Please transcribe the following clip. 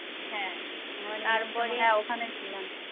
ওখানে ছিলাম